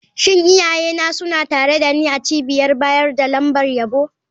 Shin iyayena suna tare da ni a cibiyar bayar da lambar yabo?